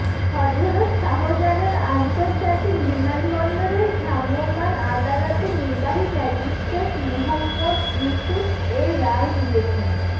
হযরত শাহজালাল আন্তর্জাতিক বিমানবন্দরের ভ্রাম্যমাণ আদালতে নির্বাহী ম্যাজিস্ট্রেট মুহম্মদ ইউসুফ এ রায় দিয়েছেন